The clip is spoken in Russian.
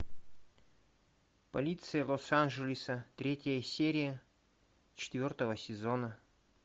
полиция лос анджелеса третья серия четвертого сезона